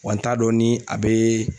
Wa n t'a dɔn ni a bɛ